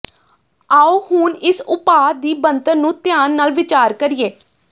ਆਓ ਹੁਣ ਇਸ ਉਪਾਅ ਦੀ ਬਣਤਰ ਨੂੰ ਧਿਆਨ ਨਾਲ ਵਿਚਾਰ ਕਰੀਏ